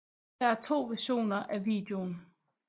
Der er to versioner af videoen